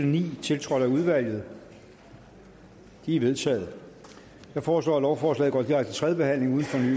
ni tiltrådt af udvalget de er vedtaget jeg foreslår at lovforslaget går direkte til tredje behandling uden fornyet